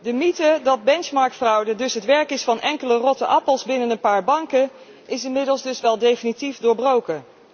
De mythe dat benchmark fraude het werk is van enkele rotte appels binnen een paar banken is inmiddels dus wel definitief doorbroken.